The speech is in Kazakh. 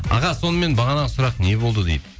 аға сонымен бағанағы сұрақ не болды дейді